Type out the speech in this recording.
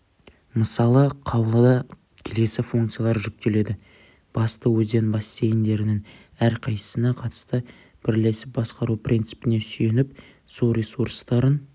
мысалы қаулыда келесі функциялар жүктеледі басты өзен бассейндерінің әрқайсысына қатысты бірлесіп басқару принципіне сүйеніп су ресурстарын